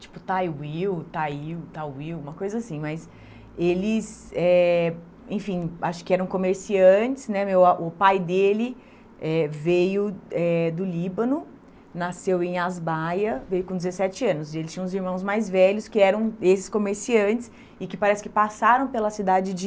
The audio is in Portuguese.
tipo Thay Will, Thayil, Thay Will, uma coisa assim, mas eles eh, enfim, acho que eram comerciantes, né, meu a o pai dele eh veio eh do Líbano, nasceu em Asbaia, veio com dezessete anos, e eles tinham uns irmãos mais velhos que eram esses comerciantes e que parece que passaram pela cidade de